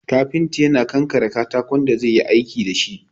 Kafinta yana ƙanƙare katakon da zai yi aiki dashi